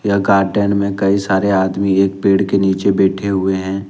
यह गार्डन में कई सारे आदमी एक पेड़ के नीचे बैठे हुए हैं।